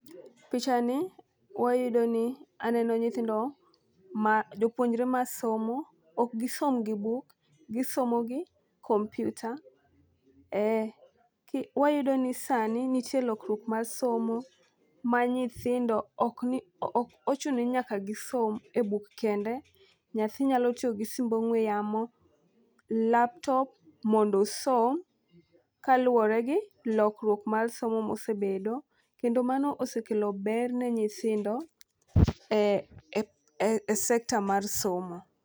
Picha ni wayudo mi aneno nyithindo ma jopuonjre masomo. Ok gisom gi buk, gisomo gi komputa ee ki .Wayudo ni sani ntie lokruok mar osomo ma nyithindo ok ng'i ok ochuno ni nyaka gisom e buk kende, nyathi nyalo tiyo gio simb ong'we yamo , laptop mondo osom kaluwore gi lokruok mar somo mosebedo kendo mano osekelo ber ne nyithindo e e sector mar somo.